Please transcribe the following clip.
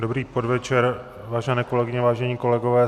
Dobrý podvečer, vážené kolegyně, vážení kolegové.